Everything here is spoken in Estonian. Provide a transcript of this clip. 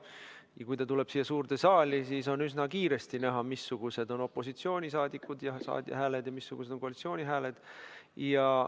Ja kui ta tuleb siia suurde saali, siis on üsna kiiresti näha, missugused on opositsiooni hääled ja missugused on koalitsiooni hääled.